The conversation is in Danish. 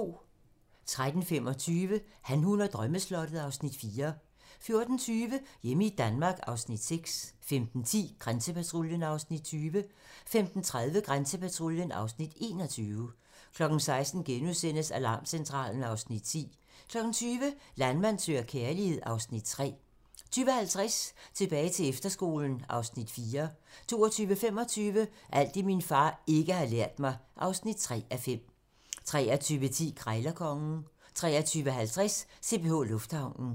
13:25: Han, hun og drømmeslottet (Afs. 4) 14:20: Hjemme i Danmark (Afs. 6) 15:10: Grænsepatruljen (Afs. 20) 15:30: Grænsepatruljen (Afs. 21) 16:00: Alarmcentralen (Afs. 10)* 20:00: Landmand søger kærlighed (Afs. 3) 20:50: Tilbage til efterskolen (Afs. 4) 22:25: Alt det, min far ikke har lært mig (3:5) 23:10: Krejlerkongen (tir) 23:50: CPH Lufthavnen (tir)